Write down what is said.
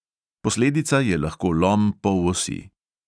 Posledica je lahko lom polosi.